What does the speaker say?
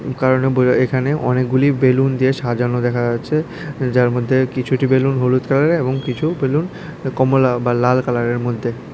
এখানে অনেকগুলি বেলুন দিয়ে সাজানো দেখা যাচ্ছে যার মধ্যে কিছুটি বেলুন হলুদ কালারের এবং কিছু বেলুন কমলা বা লাল কালারের মধ্যে।